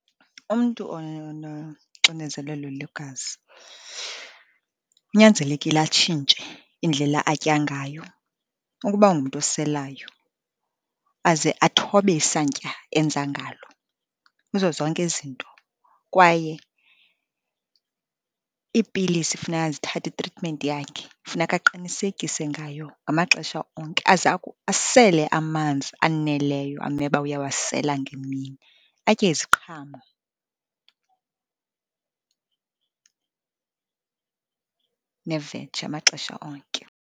Umntu ononoxinezelelo lwegazi kunyanzelekile atshintshe indlela atya ngayo. Ukuba ungumntu oselayo aze athobe isantya enza ngalo kuzo zonke izinto. Kwaye iipilisi funeka azithathe, itritimenti yakhe, funeka aqinisekise ngayo ngamaxesha onke, asele amanzi aneleyo amele uba uyawasela ngemini, atye iziqhamo neveji amaxesha onke.